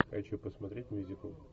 хочу посмотреть мюзикл